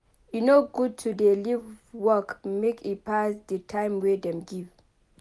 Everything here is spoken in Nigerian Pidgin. E no good to dey leave work make e pass di time wey dem give.